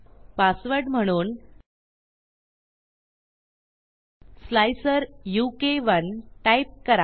password म्हणून slicer उ के 1 टाईप करा